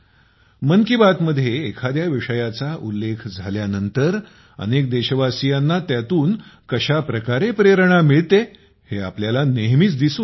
मन की बात मध्ये एखाद्या विषयाचाउल्लेख झाल्यानंतर अनेक देशवासियांना त्यातून कशा प्रकारे प्रेरणा मिळते हे आपल्याला नेहमीच दिसून येते